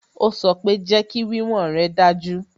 Ó sọ pé "Jẹ́kí wíwọ̀n rè dájú"